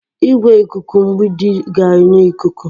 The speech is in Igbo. Igwe ikuku mgbidi ga-enye ikuku.